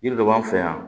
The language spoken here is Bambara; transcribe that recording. Yiri dɔ b'an fɛ yan